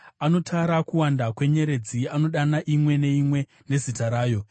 Anotara kuwanda kwenyeredzi, anodana imwe neimwe nezita rayo.